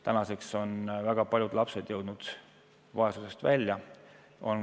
Tänaseks on väga paljud lapsed jõudnud vaesusest välja.